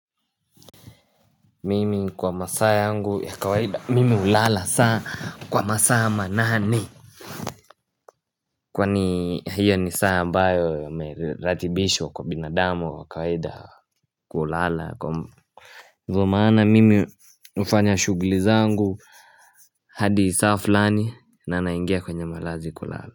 Mimi kwa masaa yangu ya kawaida mimi hulala saa kwa masaa manane Kwani hiyo ni saa ambayo imeratibishwa kwa binadamu wa kawaida kulala Ndio maana mimi hufanya shughuli zangu hadi saa fulani na naingia kwenye malazi kulala.